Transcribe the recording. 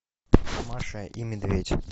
маша и медведь